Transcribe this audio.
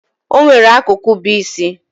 Onwere akụkụ bu isi.